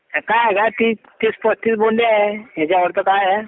कि तीस पस्तीस बोन्डे आहे याच्यावरती काय आहे